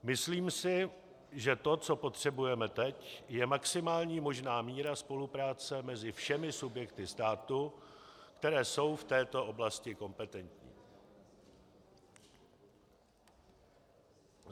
Myslím si, že to, co potřebujeme teď, je maximální možná míra spolupráce mezi všemi subjekty státu, které jsou v této oblasti kompetentní.